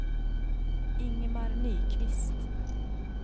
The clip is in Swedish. Ingemar Nyqvist